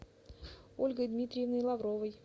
ольгой дмитриевной лавровой